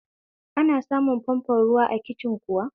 Ana samun famfon ruwa a kicin kuwa?